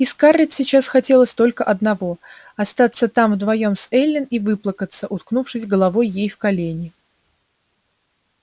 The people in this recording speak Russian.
и скарлетт сейчас хотелось только одного остаться там вдвоём с эллин и выплакаться уткнувшись головой ей в колени